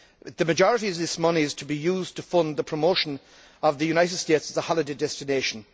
The majority of this money is to be used to fund the promotion of the United States as a holiday destination.